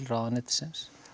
ráðuneytisins